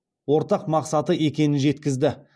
ортақ мақсаты екенін жеткізді